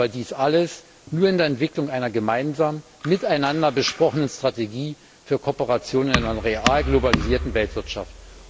Aber dies alles nur in der Entwicklung einer gemeinsamen, miteinander besprochenen Strategie für Kooperation in einer real globalisierten Weltwirtschaft.